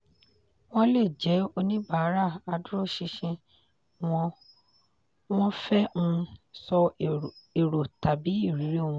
wọ́n lè jẹ́ oníbàárà adúróṣinṣin wọ́n wọ́n fẹ́ um sọ èrò tàbí irírí wọn.